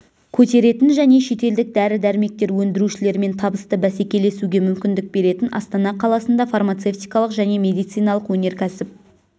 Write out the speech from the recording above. көтеретін және шетелдік дәрі-дәрмектер өндірушілермен табысты бәсекелесуге мүмкіндік беретін астана қаласында фармацевтикалық және медициналық өнеркәсіп